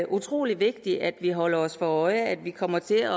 utrolig vigtigt at vi holder os for øje at vi kommer til at